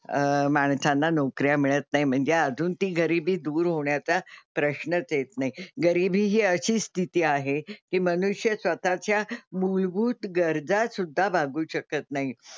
अं माणसाला नोकऱ्या मिळत नाही म्हणजे अजून ती गरीबी दूर होण्याचा प्रश्नच येत नाही. गरीबी हि अशी स्थिती आहे की मनुष्य स्वतः च्या मूलभूत गरजा सुद्धा भागवू शकत नाही.